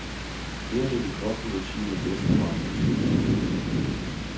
Det at dele kost og logi med gæster var en naturlig ting.